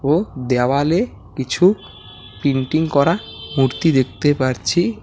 ও দেওয়ালে কিছু প্রিন্টিং করা মূর্তি দেখতে পারছি।